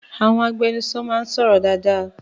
Àwọn agbẹnusọ náà ń sọ̀rọ̀ dáadáa.